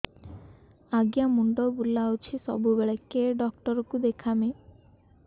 ଆଜ୍ଞା ମୁଣ୍ଡ ବୁଲାଉଛି ସବୁବେଳେ କେ ଡାକ୍ତର କୁ ଦେଖାମି